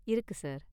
இருக்கு சார்.